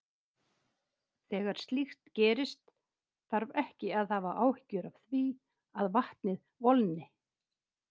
Þegar slíkt gerist þarf ekki að hafa áhyggjur af því að vatnið volgni.